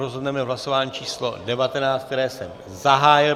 Rozhodneme v hlasování číslo 19, které jsem zahájil.